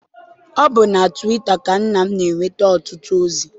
Ọ bụ na twita ka nna m na-enweta ọtụtụ ozi.